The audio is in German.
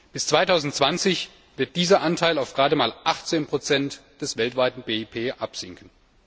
Bis 2020 wird dieser Anteil auf gerade mal 18 des weltweiten BIP absinken.